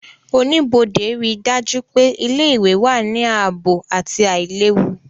Oníbodé ríi dájú pé ilé-ìwé wà ní ààbò àti àìlewu